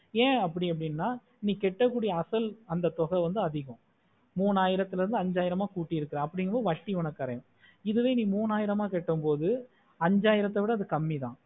என் அப்டி அப்புடின்னா நீ கேட்ட குடியா அசல் அந்த தொகை வந்து ஆதிக்கம் மூனையிரத்துல இருந்து அஞ்சாயிரமா குட்டிற்க்கே அப்புடிகமொடு வட்டி உனக்கு தர இதுவா நீ மூணாயிரமா கேட்ட மோடு அஞ்சாயிரத்த விடஅது கம்மிதான்